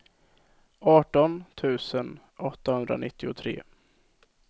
arton tusen åttahundranittiotre